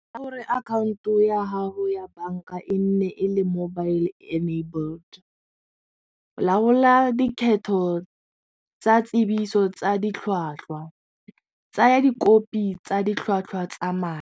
Akhaonto ya gago ya banka e nne e le mobile enabled, laola dikgetho tsa tsebiso tsa ditlhwatlhwa tsaya dikopi tsa ditlhwatlhwa tsa madi.